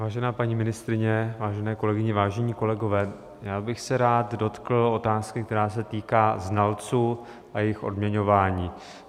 Vážená paní ministryně, vážené kolegyně, vážení kolegové, já bych se rád dotkl otázky, která se týká znalců a jejich odměňování.